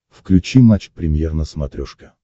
включи матч премьер на смотрешке